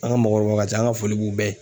An ka mɔgɔkɔrɔbaw ka ca an ka foli b'u bɛɛ ye